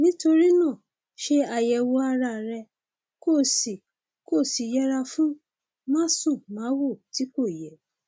nítorí náà ṣe àyẹwò ara rẹ kó o sì kó o sì yẹra fún másùnmáwo tí kò yẹ